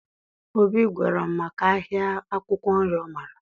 Obi gwara m maka ahịa akwụkwọ nri ọ maara